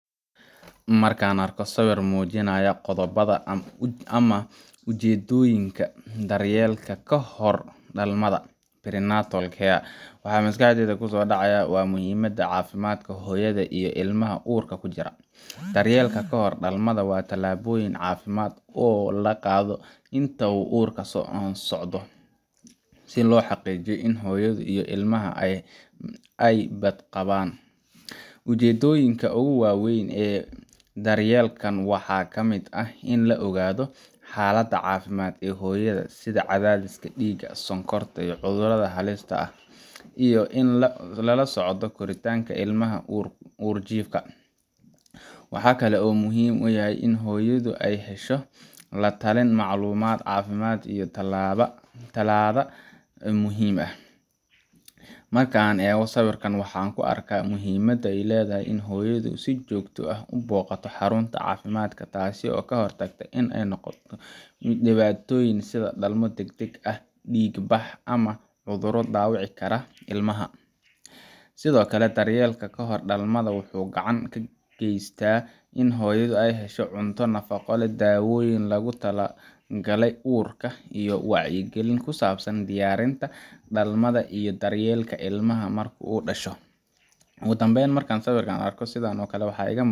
Marka aan arko sawir muujinaya qodobbada ama ujeedooyinka daryeelka kahor dhalmada prenatal care waxa maskaxdayda ku soo dhacaya muhiimadda caafimaadka hooyada iyo ilmaha uurka ku jira. Daryeelka kahor dhalmada waa tallaabooyin caafimaad oo la qaado inta uu uurku socdo, si loo xaqiijiyo in hooyadu iyo ilmaha ay badqabaan. Ujeeddooyinka ugu waaweyn ee daryeelkan waxaa ka mid ah in la ogaado xaaladda caafimaad ee hooyada, sida cadaadiska dhiigga, sonkorta, cudurrada halista ah, iyo in la la socdo koritaanka ilmaha uurjiifka ah. Waxa kale oo uu muhiim u yahay in hooyadu hesho la-talin, macluumaad caafimaad, iyo tallaalada muhiimka ah. Marka aan eegayo sawirka, waxaan arkaa muhiimadda ay leedahay in hooyadu si joogto ah u booqato xarunta caafimaadka – taas oo ka hortag u noqon karta dhibaatooyin sida dhalmo deg-deg ah, dhiig-bax, ama cudurro dhaawici kara ilmaha. Sidoo kale, daryeelka kahor dhalmada wuxuu gacan ka geystaa in hooyadu hesho cunto nafaqo leh, dawoyin loogu tala galay uurka, iyo wacyigelin ku saabsan diyaarinta dhalmada iyo daryeelka ilmaha marka uu dhasho. Ugu dambayn, markaan arko sawir sidan ah, waxa iiga